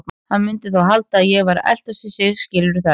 Hann mundi þá halda að ég væri að eltast við sig, skilurðu það ekki?